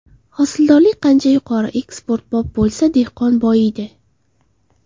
Hosildorlik qancha yuqori, eksportbop bo‘lsa, dehqon boyiydi.